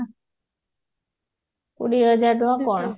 କୋଡିଏ ହଜାର ଟଙ୍କା କଣ